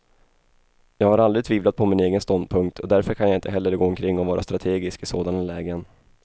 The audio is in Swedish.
Jag har aldrig tvivlat på min egen ståndpunkt, och därför kan jag inte heller gå omkring och vara strategisk i sådana lägen.